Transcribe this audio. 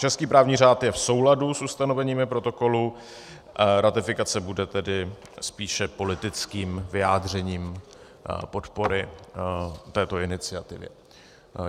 Český právní řád je v souladu s ustanoveními protokolu, ratifikace bude tedy spíše politickým vyjádřením podpory této iniciativy.